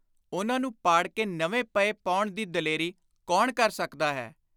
ਉਨ੍ਹਾਂ ਨੂੰ ਪਾੜ ਕੇ ਨਵੇਂ ਪਹੇ ਪਾਉਣ ਦੀ ਦਲੇਰੀ ਕੌਣ ਕਰ ਸਕਦਾ ਹੈ।